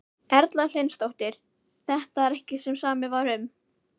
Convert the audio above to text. Erla Hlynsdóttir: Þetta er ekki það sem samið var um?